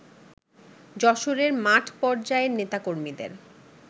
যশোরের মাঠ পর্যায়ের নেতাকর্মীদের